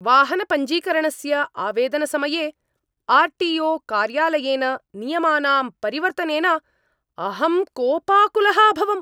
वाहनपञ्जीकरणस्य आवेदनसमये R T O कार्यालयेन नियमानां परिवर्तनेन अहं कोपाकुलः अभवम्।